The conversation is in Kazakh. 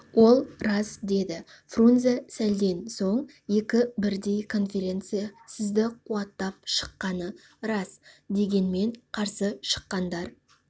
ол рас деді фрунзе сәлден соң екі бірдей конференция сізді қуаттап шыққаны рас дегенмен қарсы шыққандар